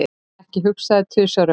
Ekki hugsa þig tvisvar um.